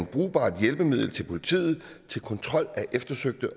brugbart hjælpemiddel til politiet til kontrol af eftersøgte